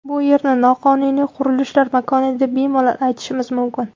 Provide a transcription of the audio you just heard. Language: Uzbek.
Bu yerni noqonuniy qurilishlar makoni deb bemalol aytishimiz mumkin.